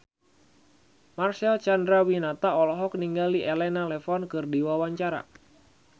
Marcel Chandrawinata olohok ningali Elena Levon keur diwawancara